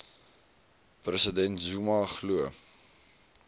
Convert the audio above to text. president zuma glo